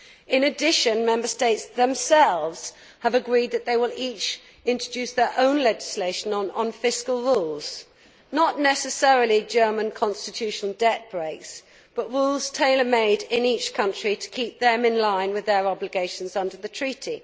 In addition, Member States themselves have agreed that they will each introduce their own legislation on fiscal rules not necessarily German constitution debt breaks but rules tailor made in each country to keep them in line with their obligations under the Treaty.